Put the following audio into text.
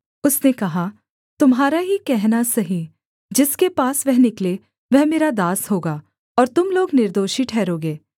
उसने कहा तुम्हारा ही कहना सही जिसके पास वह निकले वह मेरा दास होगा और तुम लोग निर्दोषी ठहरोगे